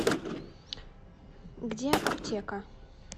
где аптека